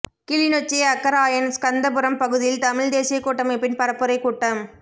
கிளிநொச்சி அக்கராயன் ஸ்கந்தபுரம் பகுதியில் தமிழ்த் தேசியக் கூட்டமைப்பின் பரப்புரைக் கூட்டம்